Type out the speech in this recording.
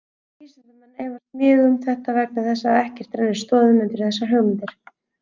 Vísindamenn efast mjög um þetta vegna þess að ekkert rennir stoðum undir þessar hugmyndir.